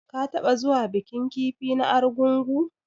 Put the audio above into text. Ka taɓa zuwa bikin kifi na argungu.